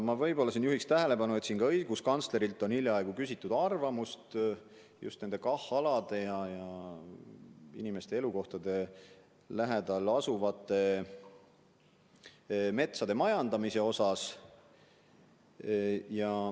Ma juhin siinkohal tähelepanu ka sellele, et õiguskantslerilt on hiljaaegu küsitud arvamust just nende KAH-alade ja inimeste elukohtade lähedal asuvate metsade majandamise kohta.